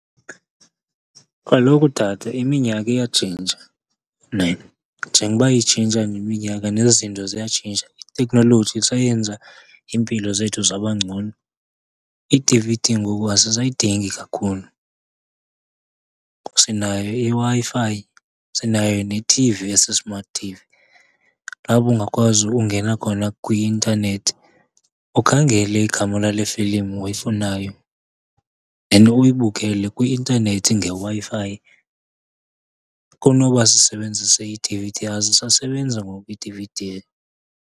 Kaloku tata iminyaka iyatshintsha, njengoba itshintsha neminyaka nezinto ziyatshintsha. Iteknoloji seyenza iimpilo zethu zaba ngcono. ID_V_D ngoku asisayidingi kakhulu, sinayo iWi-Fi, sinayo neT_V esi-smart T_V, apho ungakwazi ukungena khona kwi-intanethi ukhangele igama lale filimu oyifunayo and uyibukele kwi-intanethi ngeWi-Fi kunoba sisebenzise iD_V_D. Azisasebenzi ngoku iiD_V_D.